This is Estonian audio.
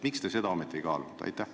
Miks te seda ometi ei kaalunud?